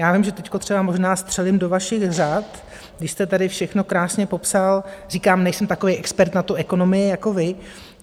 Já vím, že teď třeba možná střelím do vašich řad, když jste tady všechno krásně popsal, říkám, nejsem takový expert na tu ekonomii jako vy.